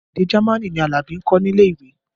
Èdè Jamaní ni Alabi ń kọ́ nílé ìwé